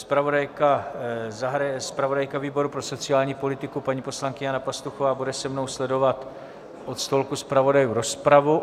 Zpravodajka výboru pro sociální politiku paní poslankyně Jana Pastuchová bude se mnou sledovat od stolku zpravodajů rozpravu.